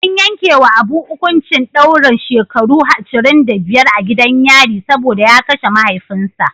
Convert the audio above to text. An yankewa Abu hukuncin daurin shekaru ashirin da biyar a gidan yari saboda ya kashe mahaifinsa.